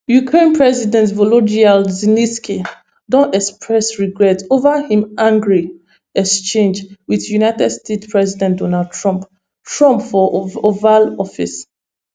ukraine president volodymyr zelensky don express regret over im angry exchange wit united states president donald trump trump for oval office